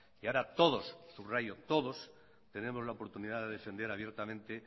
y ahora todos subrayo todos tenemos la oportunidad de defender abiertamente